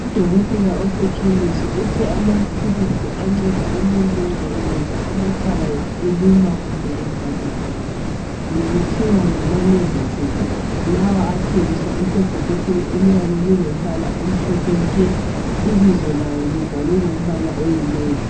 Udokotela osekhemisi uthe amaphilisi anceda nxa umuntu nxa engezwa amakhala eluma kumbe evalekile kuthiwa ngamalevusethi lawa athengiswa esebhokisini eliyabe lilompala omhlophe nke ibizo lawo libhale ngompala oyinevi.